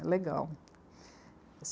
É legal.